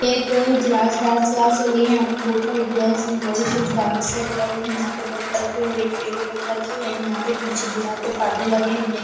एक class dance class चल रही है यहां पर बहोत सारी गर्ल एंड बॉयस कुछ डांस स्टेप कर रही है हाथ ऊपर करके एक पैर ऊपर करके एंड यहां पीछे दिवार पे परदे लगे है ब्लै --